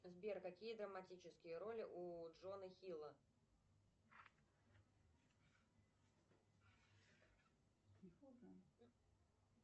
сбер какие драматические роли у джона хилла